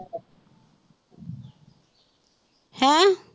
ਹੈਂ